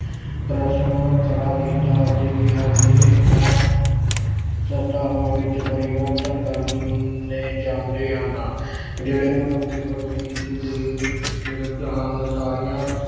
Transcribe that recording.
ਪ੍ਰਸ਼ਨ ਖੜਾ ਕੀਤਾ ਅਤੇ ਕਿਹਾ ਕਿ ਇਹਨਾਂ ਸੰਸਥਾਵਾਂ ਵਿੱਚ ਪਰਿਵਰਤਨ ਕਰਨਾ ਚਾਹੁੰਦੇ ਹਨ। ਜਿਹੜੇ ਮਨੁੱਖੀ ਪ੍ਰਕਿਰਤੀ ਦੇ ਵਿਰੁੱਧ ਹਨ। ਸਾਰੀਆਂ